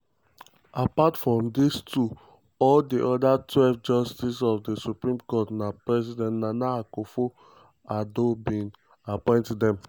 um at dis moment di kontri supreme court get 14 justices wia include di suspended chief justice.